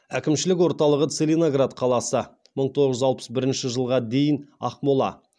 әкімшілік орталығы целиноград қаласы